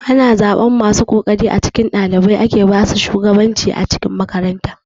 Ana zaɓan masu kokari a cikin ɗalibai ake basu shugabanci a makaranta.